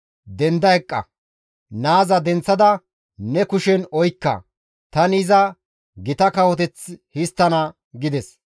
denda eqqa; naaza denththada ne kushen oykka; tani iza gita kawoteth histtana» gides.